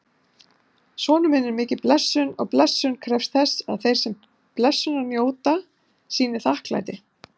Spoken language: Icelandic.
Sonur er mikil blessun og blessun krefst þess að þeir sem blessunar njóta sýni þakklæti.